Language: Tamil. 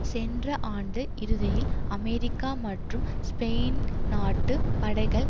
சென்ற ஆண்டு இறுதியில் அமெரிக்க மற்றும் ஸ்பெயின் நாட்டுப் படைகள்